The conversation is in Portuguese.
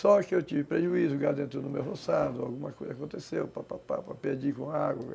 Só que eu tive prejuízo, o gado entrou no meu roçado, alguma coisa aconteceu, papapá, pedir com água.